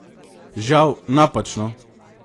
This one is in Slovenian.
Žal, napačno!